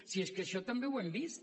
si és que això també ho hem vist